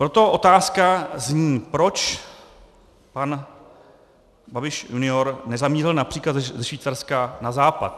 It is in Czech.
Proto otázka zní: Proč pan Babiš junior nezamířil například ze Švýcarska na západ?